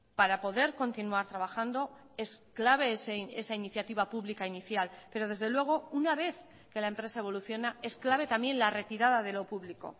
para poder continuar trabajando es clave esa iniciativa pública inicial pero desde luego una vez que la empresa evoluciona es clave también la retirada de lo público